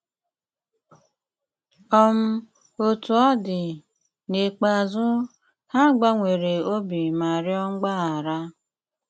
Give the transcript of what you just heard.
um Òtú ọ dị, n'íkpéazụ, ha gbànwèrè obi ma rịọ mgbaghara.